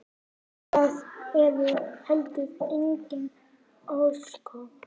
Það eru heldur engin ósköp.